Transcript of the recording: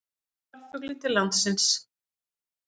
Fyrsti farfuglinn til landsins